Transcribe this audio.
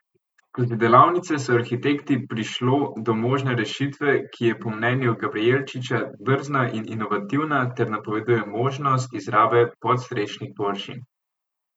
Skozi delavnice so arhitekti prišlo do možne rešitve, ki je po mnenju Gabrijelčiča drzna in inovativna ter napoveduje možnost izrabe podstrešnih površin.